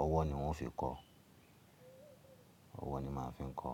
ọwọ́ ni wọ́n fi kọ. Ọwọ́ ni màá fi ń kọ.